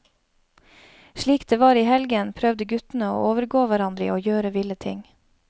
Slik det var i helgen, prøvde guttene å overgå hverandre i å gjøre ville ting.